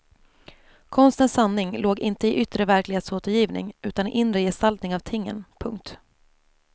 Konstens sanning låg inte i yttre verklighetsåtergivning utan i inre gestaltning av tingen. punkt